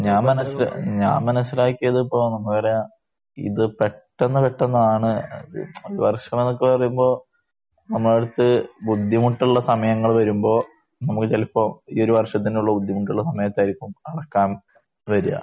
ഞാൻ മനസി ഞാൻ മനസ്സിലാക്കിയത് ഇപ്പോ ഒരു ഇത് പെട്ടെന്ന് പെട്ടെന്ന് ആണ് ഒര് വർഷം എന്നൊക്കെ പറയുമ്പോ നമ്മളുടെ അടുത്തു ബുദ്ധിമുട്ടുള്ള സമയങ്ങൾ വരുമ്പോ നമുക്ക് ചിലപ്പോ ഈ ഒരു വർഷത്തില് ബുദ്ധിമുട്ടുള്ള സമയത്ത് ആയിരിക്കും അടയ്ക്കാൻ വരിക